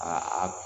Aa a